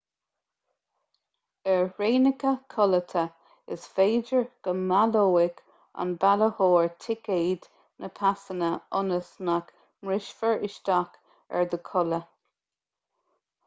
ar thraenacha codlata is féidir go mbaileoidh an bailitheoir ticéad na pasanna ionas nach mbrisfear isteach ar do chodladh